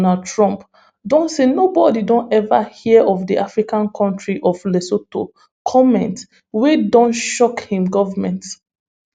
us president donald trump don say nobody don ever hear of di african country of lesotho comment wey donshock im government